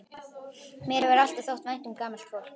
Mér hefur alltaf þótt vænt um gamalt fólk.